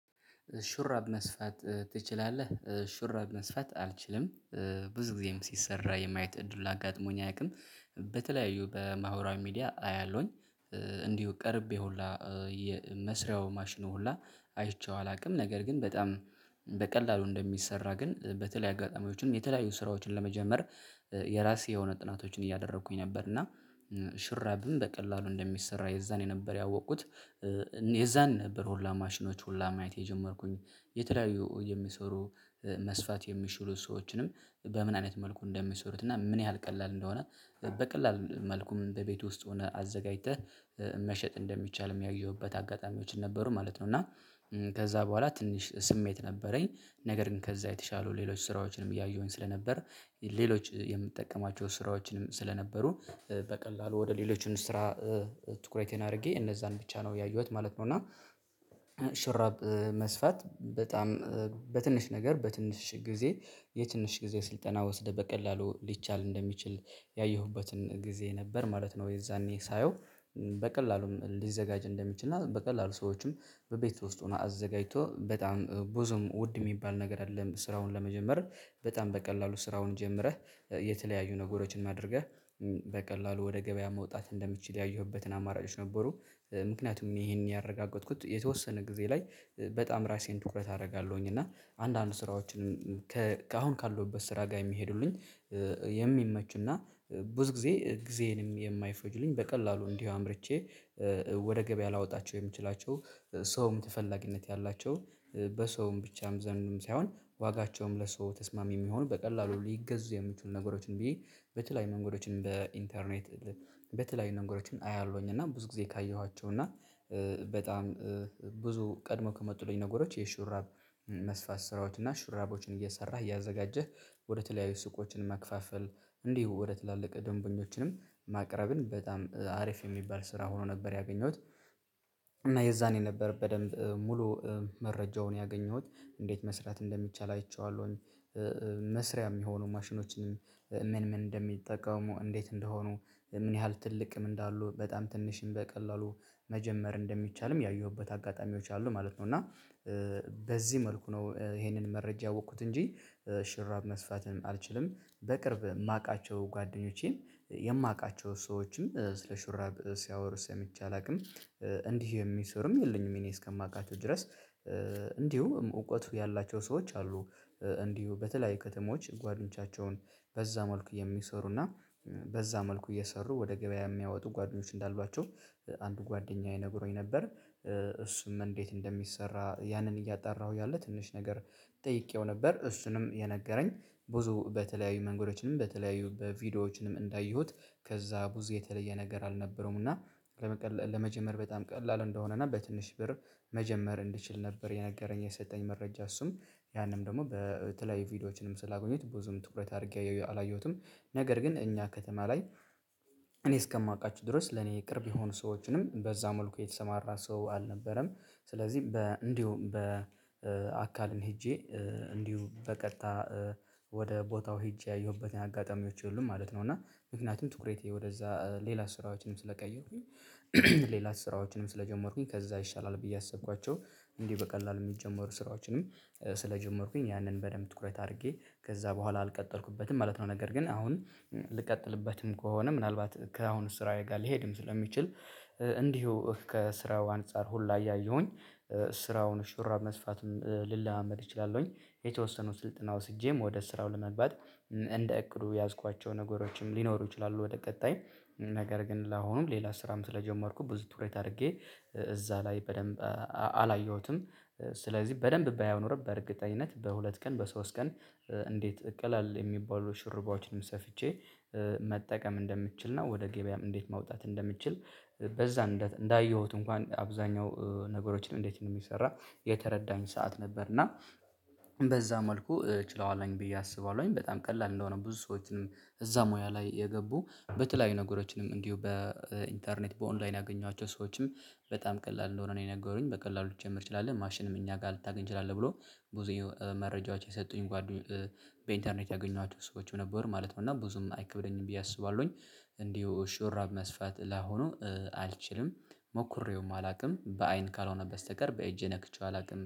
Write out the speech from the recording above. ሹራብ መስፋት ትችላለህ? ሽራብ መስፋት አልችልም ብዙ ጊዜም ሲሰራ የማየት እድሉን አጋጥሞኝ አያውቅም በተለያዩ በማህበራዊ ሚዲያ አያለሁኝ እንዲሁ ቀርቤ ሁላ የመስሪያው ማሽን ሁላ አይቼው አላውቅም። ነገር ግን በጣም በቀላሉ እንደሚሰራ ግን በተለያየ አጋጣሚዎችም የተለያዩ ስራዎችን ለመጀመር የራሴ የሆነ ጥናቶችን እያደረኩኝ ነበር እና ሽርብም በቀላሉ እንደሚሰራ የዛኔ ነበር ያወቁት። የዛን ነበር ሁላ ማሽኖች ሁላ ማየት የጀመርኩኝ የተለያዩ የሚሰሩ መስፋት የሚችሉ ሰዎችንም በምን አይነት መልኩ እንደሚሰሩት እና ምን ያህል ቀላል እንደሆነ በቀላል መልኩም በቤቱ ውስጥ ሆነ አዘጋጅተህ መሸጥ እንደሚቻል የሚያየውበት አጋጣሚዎችን ነበሩ ማለት ነው እና ከዛ በኋላ ትንሽ ስሜት ነበረኝ ነገር ግን ከዛ የተሻሉ ሌሎች ስራዎችንም እያየሁኝ ስለነበር ሌሎች የምጠቀማቸው ስራዎችንም ስለነበሩ በቀላሉ ወደ ሌሎች ስራ ትኩረቴን አድርጌ እነዛን ብቻ ነው ያየሁት ማለት ነው እና ሽራብ መስፋት በጣም በትንሽ ነገር በትንሽ ጊዜ የትንሽ ጊዜ ስልጠና ወስደህ በቀላሉ ሊቻል እንደሚችል ያየሁበትን ጊዜ ነበር ማለት ነው የዛኔ ሳየው በቀላሉም ሊዘጋጅ እንደሚችል እና በቀላሉ ሰዎችም በቤት ውስጥ ሆናነው አዘጋጅተው በጣም ብዙም ውድ የሚባል ነገር አይደለም ስራውን ለመጀመር በጣም በቀላሉ ስራውን ጀምረህ የተለያዩ ነገሮችን አድርገህ በቀላሉ ወደ ገበያ መውጣት እንደምችል ያየሁበትን አማራጮች ነበሩ። ምክንያቱም ይሄንን ያረጋገጥኩት የተወሰነ ጊዜ ላይ በጣም ራሴን ትኩረት አደርጋለሁኝ እና አንዳንድ ስራዎችን ከአሁን ካለሁበት ስራ ጋር የሚሄዱልኝ የሚመቹና እና ብዙ ጊዜ ጊዜዬንም የማይፈጁብኝ በቀላሉ እንዲሁ አምርቼ ወደ ገበያ ላወጣቸው የምችላቸው ሰውም ተፈላጊነት ያላቸው በሰውም ብቻም ዘንድም ሳይሆን ዋጋቸውም ለሰው ተስማሚ የሚሆኑ በቀላሉ ሊገዙ የምትሉ ነገሮችን ብዬ በተለይ መንገዶችን በኢንተርኔት በተለይ ነገሮችን አያለሁኝ እና ብዙ ጊዜ ካየኋቸው እና በጣም ብዙ ቀድሞ ከመጡልኝ ነገሮች የሹራብ መስፋት ስራዎች እና ሹራቦችን እየሰራህ እያዘጋጀህ ወደ ተለያዩ ሱቆችን ማከፋፈል እንዲሁ ወደ ትላልቅ ደንበኞችንም ማቅረብን በጣም አሪፍ የሚባል ስራ ሆኖ ነበር ያገኘሁት። እና የዛኔ ነበር በደንብ ሙሉ መረጃውን ያገኘሁት እንዴት መስራት እንደሚቻል አይቼዋለሁኝ። መስሪያ የሚሆኑ ማሽኖችን ምን ምን እንደሚጠቀሙ እንዴት እንደሆኑ ምን ያህል ትልቅም እንዳሉ በጣም ትንሽም በቀላሉ መጀመር እንደሚቻልም ያየሁበት አጋጣሚዎች አሉ ማለት ነው እና በዚህ መልኩ ነው ይሄንን መረጃ ያወቅኩት እንጂ ሹርብ መስፋትም አልችልም። በቅርብ የማውቃቸው ጓደኞቼም የማውቃቸው ሰዎችም ስለ ሹራብ ሲያወሩ ሰምቼ አላውቅም። እንዲህ የሚሰሩም የለኝም እኔ እስከማውቃቸው ድረስ እንዲሁ እውቀቱ ያላቸው ሰዎች አሉ። እንዲሁ በተለያዩ ከተሞች ጓደኞቻቸውን በዛ መልኩ የሚሰሩና በዛ መልኩ እየሰሩ ወደ ገበያ የሚያወጡ ጓደኞች እንዳሏቸው አንድ ጓደኛዬ ነግሮኝ ነበር። እሱም እንዴት እንደሚሰራ ያንን እያጣራሁ እያለ ትንሽ ነገር ጠይቄው ነበር። እሱንም የነገረኝ ብዙ በተለያዩ መንገዶችንም በተለያዩ በቪዲዮዎችንም እንዳየሁት ከዛ ብዙ የተለየ ነገር አልነበረውም እና ለመጀመር በጣም ቀላል እንደሆነ እና በትንሽ ብር መጀመር እንድችል ነበር የነገረኝ የሰጠኝ መረጃ እሱም ያንን ደግሞ በተለያዩ ቪዲዮዎችንም ስላገኘሁት ብዙም ትኩረት አድርጌ አላየሁትም። ነገር ግን እኛ ከተማ ላይ እኔ እስከማውቃችሁ ድረስ ለኔ ቅርብ የሆኑ ሰዎችንም በዛ መልኩ የተሰማራ ሰው አልነበረም። ስለዚህ እንዲሁም አካልን ሄጄ እንዲሁም በቀጥታ ወደ ቦታው ሄጄ ያየሁበት አጋጣሚዎች የሉም ማለት ነው። እና ምክንያቱም ትኩረቴ ወደዛ ሌላ ስራዎችንም ስለቀየርኩኝ ሌላ ስራዎችንም ስለጀመርኩኝ ከዛ ይሻላል ብዬ ያሰብኳቸው እንዲህ በቀላሉ የሚጀመሩ ስራዎችንም ስለጀመርኩኝ ያንን በደንብ ትኩረት አድርጌ ከዛ በኋላ አልቀጠልኩበትም ማለት ነው። ነገር ግን አሁን ልቀጥልበትም ከሆነ ምናልባት ከአሁኑ ስራዬ ጋር ልሄድም ስለሚችል እንዲሁ ከስራው አንፃር ሁላ እያየሁኝ ስራውን ሹራብ መስፋትም ልለማመድ እችላለሁኝ። የተወሰኑ ስልጠና ወስጄም ወደ ስራው ለመግባት እንደ እቅዱ የያዝኳቸው ነገሮችም ሊኖሩ ይችላሉ ወደ ቀጣይ። ነገር ግን ለአሁኑም ሌላ ስራም ስለጀመርኩ ብዙ ትኩረት አድርጌ እዛ ላይ በደንብ አላየሁትም። ስለዚህ በደንብ ባይኖር በእርግጠኝነት በሁለት ቀን በሶስት ቀን እንዴት ቀላል የሚባሉ ሹራቦችንም ሰፍቼ መጠቀም እንደምችል ነው ወደ ገበያም እንዴት ማውጣት እንደምችል በዛ እንዳየሁት እንኳን አብዛኛው ነገሮችን እንዴት እንደሚሰራ የተረዳኝ ሰዓት ነበር እና በዛ መልኩ ችለዋለኝ ብዬ አስባለሁኝ። በጣም ቀላል እንደሆነ ብዙ ሰዎችንም እዛ ሙያ ላይ የገቡ በተለያዩ ነገሮችንም እንዲሁ በኢንተርኔት፤ በኦንላይን ያገኟቸው ሰዎችም በጣም ቀላል እንደሆነ ነው የነገሩኝ። በቀላሉ ልትጀምር ትችላለህ ማሽንም እኛ ጋር ልታገኝ ትችላለህ ብሎ ብዙ መረጃዎች የሰጡኝ ጓደኞቼ በኢንተርኔት ያገኟቸው ሰዎች ነበሩ ማለት ነው እና ብዙም አይከብደኝም ብዬ አስባለሁኝ። እንዲሁ ሽራብ መስፋት ላሆኑ አልችልም። ሞክሬውም አላውቅም። በአይን ካልሆነ በስተቀር በእጄ ነክቼው አላውቅም።